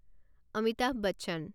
Amitabh Bachchan